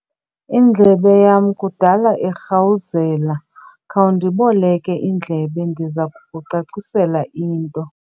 Indlebe yama kudala irhawuzela. khawundiboleke indlebe ndiza kukucacisela into